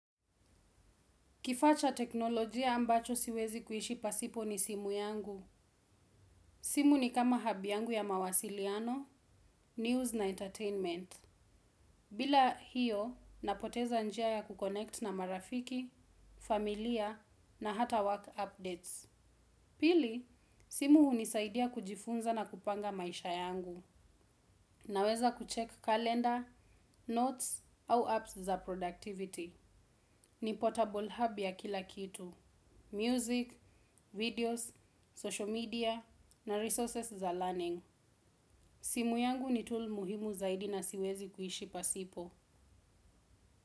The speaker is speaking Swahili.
Kifaa cha teknolojia ambacho siwezi kuishi pasipo ni simu yangu. Simu ni kama hub yangu ya mawasiliano, news na entertainment. Bila hiyo, napoteza njia ya kukonekt na marafiki, familia na hata work updates. Pili, simu hunisaidia kujifunza na kupanga maisha yangu. Naweza kucheck calendar, notes au apps za productivity. Ni portable hub ya kila kitu. Music, videos, social media na resources za learning. Simu yangu ni tool muhimu zaidi na siwezi kuishi pasipo.